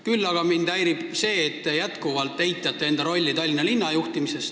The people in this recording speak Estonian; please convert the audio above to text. Küll aga häirib mind see, et te jätkuvalt eitate enda rolli Tallinna linna juhtimises.